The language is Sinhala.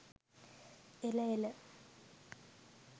එළ එළ!